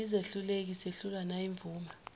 siyizehluleki sehlulwa nayimvuma